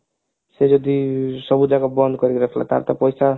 ସେ ଯଦି ସବୁଯାକ ବନ୍ଦ କରିକି ରଖିଲା ତାର ତ ପଇସା